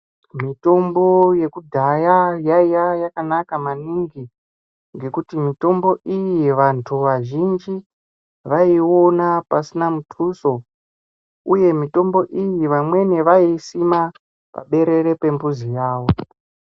Mitombo yekudhaya yaiya yakanaka maningi ngekuti mitombo iyi vantu vazhinji vaiona pasina mutuso uye mitombo iyi vamweni vaisima paberere pambuzi yavo .